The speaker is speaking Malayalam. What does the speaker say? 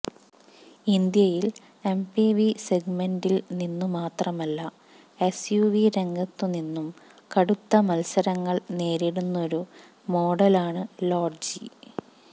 ഇന്ത്യയിൽ എംപിവി സെഗ്മെന്റിൽ നിന്നുമാത്രമല്ല എസ്യുവി രംഗത്തുനിന്നും കടുത്ത മത്സരങ്ങൾ നേരിടുന്നൊരു മോഡലാണ് ലോഡ്ജി